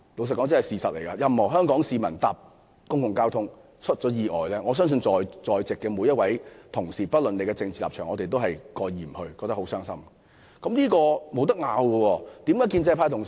坦白說，如有任何香港市民因乘坐公共交通工具而發生意外，我相信，在席每位同事不論有何政治立場，都會感到傷心，這點毋庸置疑。